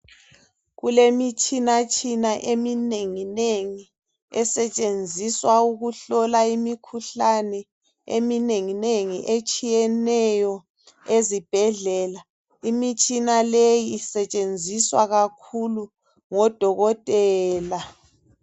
Kulemitshinatshina eminenginengi esetshenziswa ukuhlola imikhuhlane eminenginengi, etshiyeneyo ezibhedlela. Imitshina leyi isetshenziswa kakhulu ngoDokotela.